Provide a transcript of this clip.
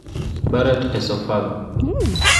Barrett esophagu